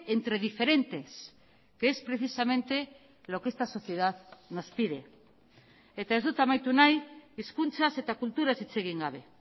entre diferentes que es precisamente lo que esta sociedad nos pide eta ez dut amaitu nahi hizkuntzaz eta kulturaz hitz egin gabe